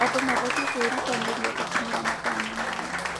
Andũ mabatiĩ kwĩrutanĩria gũkinyĩra matanya mao.